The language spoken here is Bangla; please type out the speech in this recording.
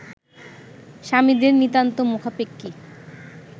স্বামীদের নিতান্ত মুখাপেক্ষী